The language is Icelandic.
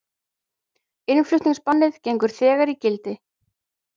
Innflutningsbannið gengur þegar í gildi